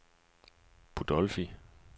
Budolfi